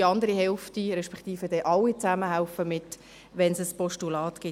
Die andere Hälfte, respektive alle zusammen, helfen mit, wenn es ein Postulat gibt.